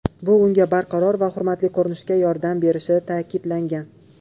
Bu unga barqaror va hurmatli ko‘rinishga yordam berishi ta’kidlangan.